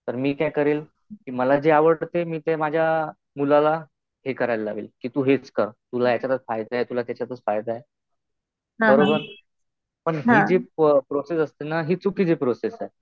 तर मी काय करील? कि मला जे आवडतं ते माझ्या मुलाला हे करायला लावील. कि तू हेच कर. तुला ह्याच्यातच फायदा आहे. तुला त्याच्यातच फायदा आहे. बरोबर. पण हि जे प्रोसेस असते ना, हि चुकीची प्रोसेस आहे.